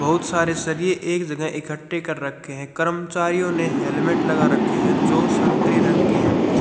बहुत सारे सरिए एक जगह इकट्ठे कर रखे हैं कर्मचारियों ने हेलमेट लगा रखे हैं जो संतरी रंग के हैं।